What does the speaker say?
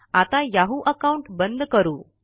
आता Yahoo account बंद करू